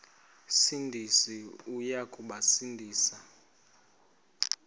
sindisi uya kubasindisa